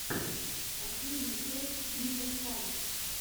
последняя часть ника скай